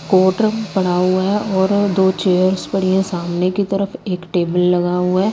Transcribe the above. Cotton पड़ा हुआ है और दो चेयर्स पड़ी हैं सामने की तरफ एक टेबल लगा हुआ है।